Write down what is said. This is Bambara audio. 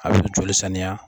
A bi joli saniya